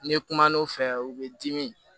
N'i kum'o fɛ u bɛ dimi